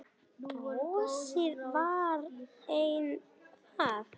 Brosið var enn það sama.